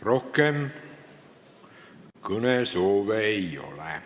Rohkem kõnesoove ei ole.